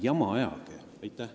Ärge ajage jama!